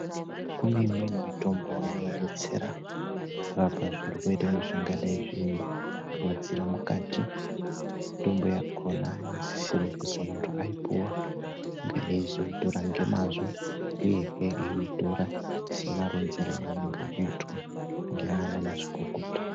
Kune imweni mitombo inodetsera zvirwere zvingadai kuitira mukati mitombo yakona inosisirwa kuti vantu vaipuwa vange veizotora nemazvo uye veizotora semaronzerwa azvakaita ngeana mazvikokota.